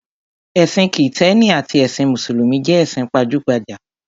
Ẹ̀sìn Kìtẹ́ẹ́nì àti ẹsìn Mùsùlùmí jẹ́ ẹ̀sìn pajúgbajà.